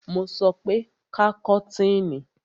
Mo sọ pé ká kọ́tìnì!